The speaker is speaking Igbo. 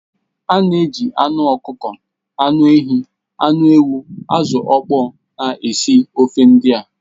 A na-eji anụ ọkụkọ, anụ ehi, anụ ewu, azụ̀ ọkpọ na-esi ofe ndị a